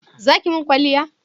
Za ki mun kwalliya?